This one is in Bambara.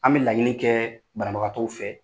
An bɛ laɲini kɛɛ banabagatɔw fɛ.